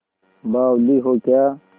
बावली हो क्या